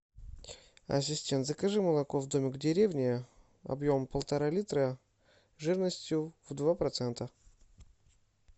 ассистент закажи молоко домик в деревне объемом полтора литра жирностью в два процента